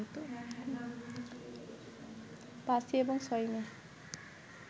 ৫ই এবং ৬ই মে